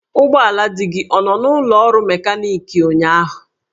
Ụgbọala di gị ọ nọ n'ụlọ ọrụ mekaniki ụnyahụ?